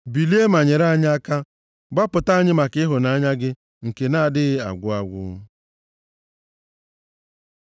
Bilie ma nyere anyị aka; gbapụta anyị maka ịhụnanya gị nke na-adịghị agwụ agwụ.